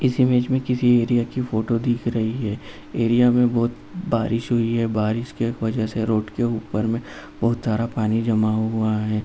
और इस इमेज में किसी एरिया की फ़ोटो दिख रही है। एरिया में बहोत बारिश हुई है। बारिश की वजह से रोड के ऊपर में बहोत सारा पानी जमा हुआ है।